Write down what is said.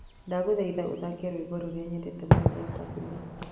Ndagũthaitha ũthakĩe rwĩmbo rũrĩa nyendete mũno rwa tabu ley